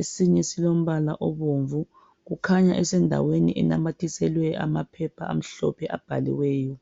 esinye silombala obomvu kukhanya esendaweni enamathiselwe amaphepha amhlophe abhaliweyo.